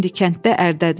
İndi kənddə ərdədir.